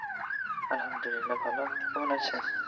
আলহামদুলিল্লাহ ভালো কেমন আছেন